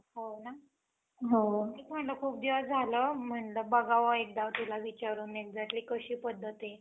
आणि आपल्याला माहितीय जोपर्यंत पाऊस येत नाही, तोपर्यंत आपण अं शेतामध्ये पेरणी वैगरे काही करत नसतो. त्यात पाणी जोपर्यंत येत नाही तोपर्यंत होणार नाही. तर यामुळे,